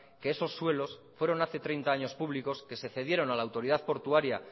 que esos suelos fueron hace treinta años públicos que se cedieron a la autoridad portuaria